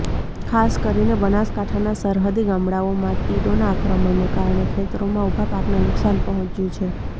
ખાસ કરીને બનાસકાંઠાના સરહદી ગામડાઓમાં તીડોના આક્રમણને કારણે ખેતરોમાં ઉભા પાકને નુકશાન પહોંચ્યુ છે